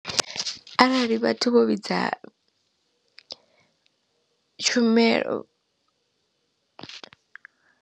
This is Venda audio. Arali vhathu vho vhidza tshumelo.